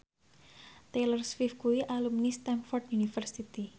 Taylor Swift kuwi alumni Stamford University